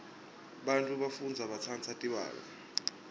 bafundzi batsandza tibalo